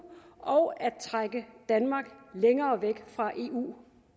og at trække danmark længere væk fra eu